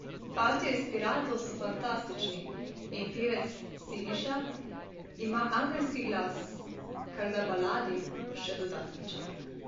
Fantje iz Piratov so fantastični in pevec Siniša ima angelski glas, kar da baladi še dodaten čar.